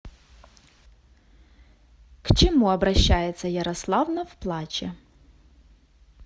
к чему обращается ярославна в плаче